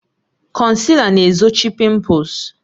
Konsila na-ezochi pimples